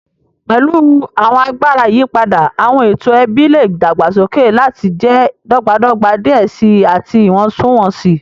Pẹlu awọn agbara iyipada, awọn eto ẹbi le dagbasoke lati jẹ dọgbadọgba diẹ sii ati iwọntunwọnsi.